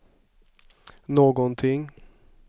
någonting